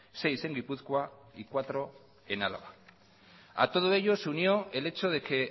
seis en gipuzkoa y cuatro en álava a todo ello se unió el hecho de que